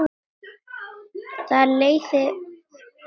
Þar leið henni vel.